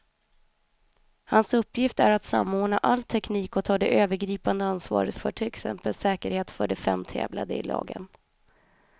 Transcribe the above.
Hans uppgift är att samordna all teknik och ta det övergripande ansvaret för till exempel säkerheten för de fem tävlande lagen.